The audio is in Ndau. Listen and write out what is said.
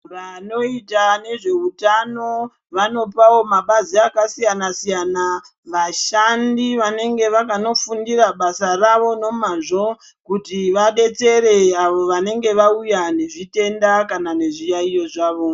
Vanoita nezveutano, vanopawo mabazi akasiyana-siyana, vashandi vanenge vakanofundira basa ravo nomazvo, kuti vabetsere avo vanenge vauya nezvitenda kana nezviyaiyo zvavo.